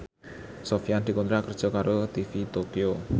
Sofyan dikontrak kerja karo TV Tokyo